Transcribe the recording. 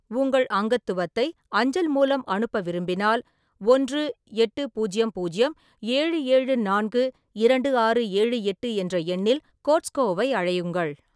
உங்கள் அங்கத்துவத்தை அஞ்சல் மூலம் அனுப்ப விரும்பினால், ஒன்று எட்டு பூஜ்யம் பூஜ்யம் ஏழு ஏழு நான்கு இரண்டு ஆறு ஏழு எட்டு என்ற எண்ணில் கோஸ்ட்கோவை அழையுங்கள்.